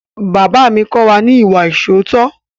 Bàbá mi kọ́ wa ní ìwà ìṣóòótọ́.